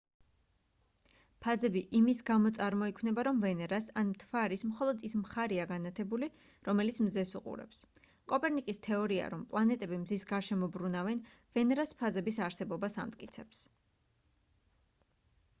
ფაზები იმის გამო წარმოიქნება რომ ვენერას ან მთვარის მხოლოდ ის მხარეა განათებული რომელიც მზეს უყურებს. კოპერნიკის თეორია რომ პლანეტები მზის გარშემო ბრუნავენ ვენერას ფაზების არსებობას ამტკიცებს